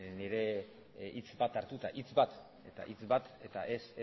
nire hitz bat hartuta hitz bat eta hitz bat eta ez